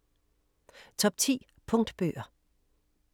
Top 10 punktbøger